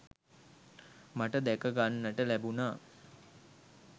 මට දැකගන්නට ලැබුණා